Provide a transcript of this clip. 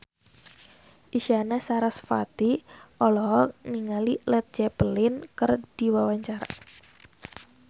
Isyana Sarasvati olohok ningali Led Zeppelin keur diwawancara